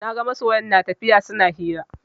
Naga masoyan natafiya suna hira